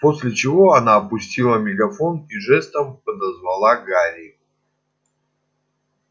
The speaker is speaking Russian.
после чего она опустила мегафон и жестом подозвала гарри